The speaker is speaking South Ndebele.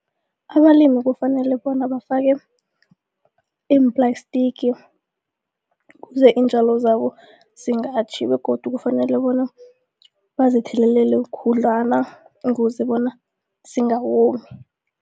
Abalimi kufanele bona bafake iimplastiki kuze iintjalo zabo singatjhi begodu kufanele bona bazithelelele khudlwana ukuze bona zingawomi.